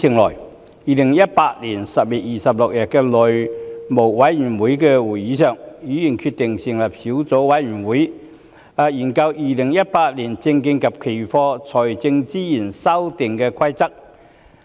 在2018年10月26日的內務委員會會議上，議員決定成立小組委員會，以研究《2018年證券及期貨規則》。